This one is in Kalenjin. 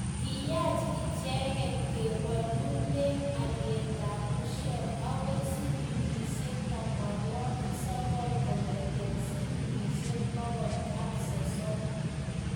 kiyach ichege kowoolune olyetab busiek akoi silingisiek tomonwokik sokol kong'ete silingisiek bokol ak sosom